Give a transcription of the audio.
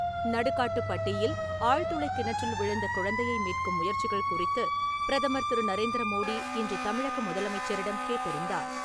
நடுக்காட்டுப்பட்டியில் ஆழ்துளைக் கிணற்றில் விழுந்த குழந்தையை மீட்கும் முயற்சிகள் குறித்துப் பிரதமர் திரு. நரேந்திர மோடி இன்று தமிழக முதலமைச்சரிடம் கேட்டறிந்தார்.